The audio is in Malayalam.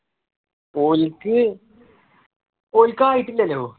ഓല്ക്കു ഓല്ക്കു ആയിട്ടില്ലല്ലോ